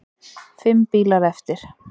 Fimm bílar eftir.